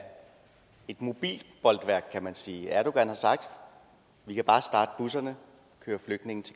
et mobilt bolværk kan man sige erdogan har sagt vi kan bare starte busserne